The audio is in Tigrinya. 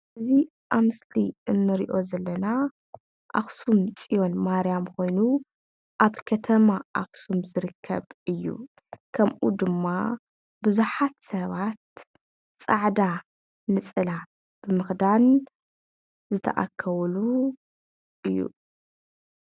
እዚ ኣብ ምስሊ ንሪኦ ዘለና ኣኽሱም ፅዮን ማርያም ኮይኑ ኣብ ከተማ ኣኽሱም ዝርከብ እዩ። ከምኡ ድማ ብዙሓት ሰባት ፃዕዳ ነፀላ ብምኽዳን ዝተኣከብሉ እዮ።